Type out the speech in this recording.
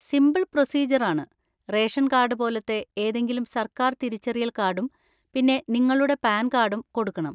Simple procedure ആണ്, ration card പോലത്തെ ഏതെങ്കിലും സർക്കാർ തിരിച്ചറിയൽ കാർഡും പിന്നെ നിങ്ങളുടെ പാൻ കാർഡും കൊടുക്കണം.